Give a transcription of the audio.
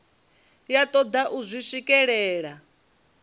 ya toda u zwi swikelela